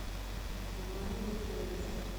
ивану викторовичу